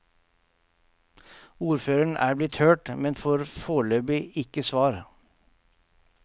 Ordføreren er blitt hørt, men får foreløpig ikke svar.